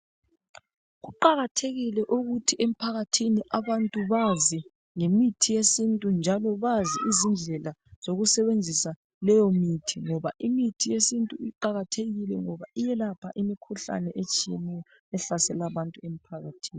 Kuqakathekile ukuthi emphakathini abantu bazi ngemithi yesintu njalo bazi izindlela zokusebenzisa leyo mithi, ngoba imithi yesintu iqakathekile ngoba iyelapha imikhuhlane etshiyeneyo ehlasela abantu emphakathini.